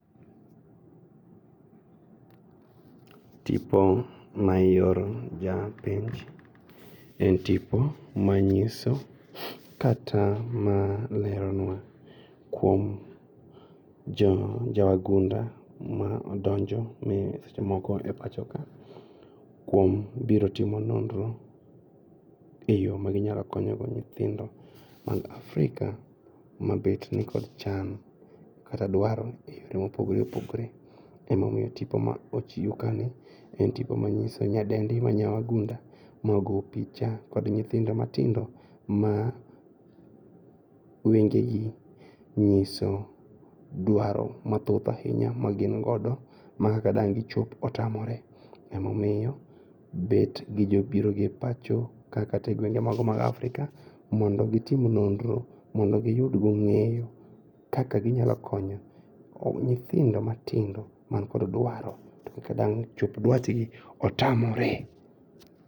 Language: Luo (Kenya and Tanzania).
Tipo ma ioro japenj en tipo manyiso kata maleronwa kuom jowagunda ma odonjo ma seche moko oor e pachoka kuom biro timo nonro e yoo maginyalo konyogo nyithindo mag Afrika mabet ni kod chand kata dwaro mopogore opogore emomiyo tipo ma ochiu kani en tipo manyiso nyadendi ma nyawagunda mogo picha kod nyithindo matindo ma wengegi nyiso dwaro mathoth ainya magingodo ma kak dang' gichop otamore emomiyo bet gijobiroga e pachoka kata e gwenge mago mag Afrika mondo gitim nonro, mondo giyudgo ng'eyo kaka ginyalo konyo nyithindo matindo man kod dwaro, to kaka dang' chop dwachgi otamore.